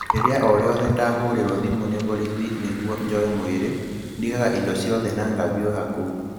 Rĩrĩa o rĩothe ndahũrĩrũo thimũ nĩ vorithi nĩguo njoe mwĩrĩ, ndigaga indo ciothe na ngaviũha kuo.